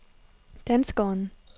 danskeren